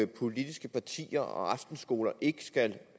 politiske partier og aftenskoler ikke skal